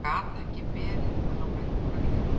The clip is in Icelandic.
Það gat ekki verið að hann væri búinn að gleyma því.